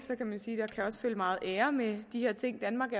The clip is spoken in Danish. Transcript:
følge meget ære med de her ting danmark